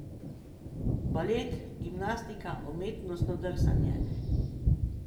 Balet, gimnastika, umetnostno drsanje.